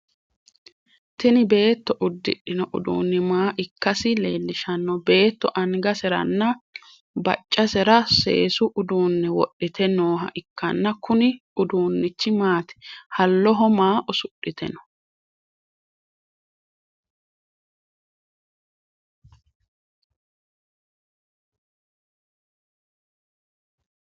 Tinni beetto udidhino uduunni maa ikasi leelishano? Beetto angaseranna baccasera seesu uduune wudhite nooha ikanna kunni uduunichi maati? Haloho maa usudhite no?